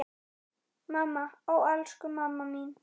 Mamma, ó elsku mamma mín.